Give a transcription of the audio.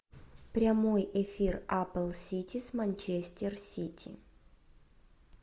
прямой эфир апл сити с манчестер сити